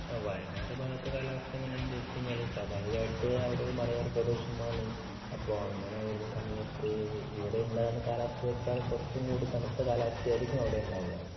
വയനാട് ഭാഗത്ത് കാലാവസ്ഥ എങ്ങനെയാ എന്ന് ചോദിച്ചു കഴിഞ്ഞാല് സ്വാഭാവികമായിട്ട് അവിടെ ഒരു മലയോരപ്രദേശമാണ്. അപ്പോ അങ്ങനെ വരുന്ന സമയത്ത് ഇവിടെ ഉണ്ടാകുന്ന കാലാവസ്ഥയെക്കാൾ കുറച്ചും കൂടി തണുത്ത കാലാവസ്ഥ ആയിരിക്കും അവിടെ ഉണ്ടാവുക.